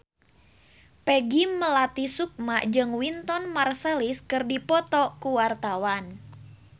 Peggy Melati Sukma jeung Wynton Marsalis keur dipoto ku wartawan